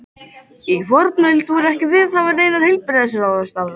Í fornöld voru ekki viðhafðar neinar heilbrigðisráðstafanir.